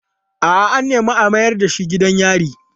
A'a, an nemi a mayar da shi gidan yari.